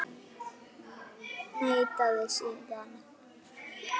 Neitaði síðan.